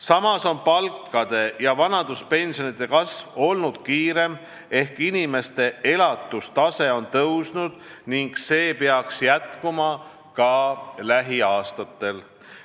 Samas on palkade ja vanaduspensionide kasv olnud kiirem ehk inimeste elatustase on tõusnud ning see peaks jätkuma ka lähiaastatel.